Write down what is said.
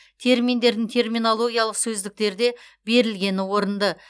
терминдердің терминологиялық сөздіктерде берілгені орынды